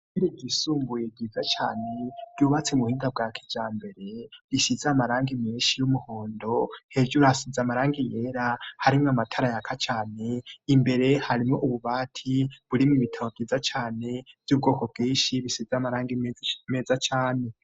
Ishure ryisumbuye ryiza cane, ryubatse mu buhinga bwa kijambere, risize amarangi menshi y'umuhondo, hejuru hasize amarangi yera, harimwo amatara yaka cane, imbere hariho ububati, burimwo ibitabao vyiza cane, vy'ubwoko bwinshi bisize amarangi meza cane.